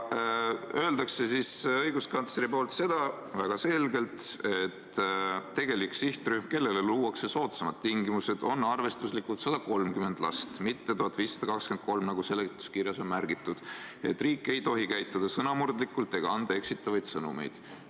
Õiguskantsler ütleb väga selgelt, et tegelik sihtrühm, kellele luuakse soodsamad tingimused, on arvestuslikult 130 last, mitte 1523, nagu seletuskirjas on märgitud, ja et riik ei tohi käituda sõnamurdlikult ega anda eksitavaid sõnumeid.